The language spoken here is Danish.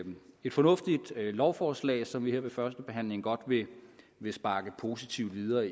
et fornuftigt lovforslag som vi her ved førstebehandlingen godt vil sparke positivt videre